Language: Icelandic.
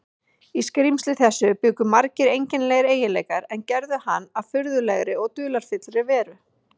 Í skrímsli þessu bjuggu margir einkennilegir eiginleikar, er gerðu hann að furðulegri og dularfullri veru.